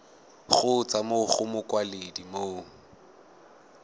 kgotsa mo go mokwaledi mo